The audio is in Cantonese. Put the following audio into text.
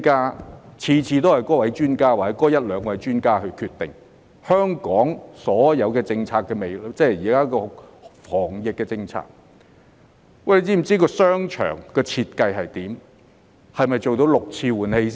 每次都是由那位專家或一兩位專家決定香港所有防疫政策，但他們是否知道商場的設計是怎樣？